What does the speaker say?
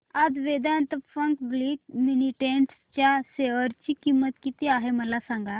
आज Vedanta public limited च्या share ची किंमत किती आहे मला सांगा